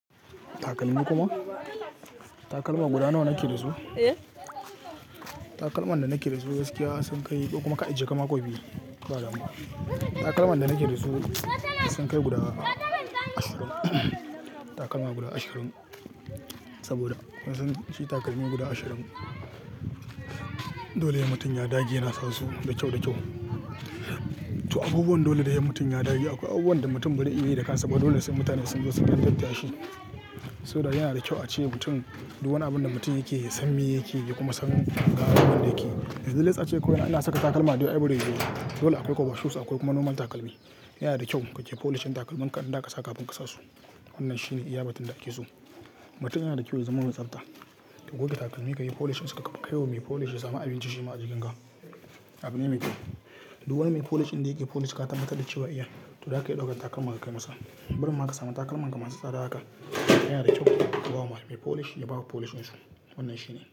Takalmi kuma? Takalma guda nawa kake da su? Takalman da nake da su gaskiya sun kai ko kuma kai jeka ma kamar biyu, ba damuwa. Takalman da nake da su sun kai guda ashirin. Takalma guda ashirin saboda suna ci takalmi guda ashirin. Dole he mutum ya dage yana sa su da kyau da kyau. To abubuwan dole da he mutum ya dage. Akwai abubuwan da mutum bai yi iyayi da kansa ba, dole sai mutane sun zo su gyartar da shi. Saboda yana da kyau a ce mutum duk wani abun da mutum yake, ya san me yake yake kuma ya san gawan abun da yake. Yanzu les ace kawai ina saka takalma dai dai yi ba. Dole akwai koba shoes akwai kuma normal takalmi. Yana da kyau kake polish din takalmanka idan za ka sa kafin ka sa su. Wannan shine iyabatun da ake so. Mutum yana da kyau ya zama mai tsabta. Ka goge takalmi ka yi polishin su ka kai wa mai polish ya sami abin ciji shi ma a cikin ka. Abin ne mai kyau. Duk wani mai polish inda yake polish ka tabbata da cewa iya, to haka ya ɗaukan takalma ka kai masa. Barin maka samu takalma ka masa tsada haka. Yana da kyau ka ba wa malamai polish ya baka polishin su. Wannan shine.